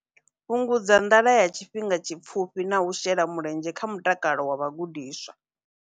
Fhungudza nḓala ya tshifhinga tshipfufhi na u shela mulenzhe kha mutakalo wa vhagudiswa.